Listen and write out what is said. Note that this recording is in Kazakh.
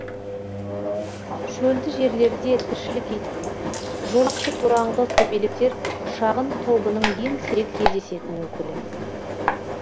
шөлді жерлерде тіршілік ететін жолақты тораңғы көбелектер шағын тобының ең сирек кездесетін өкілі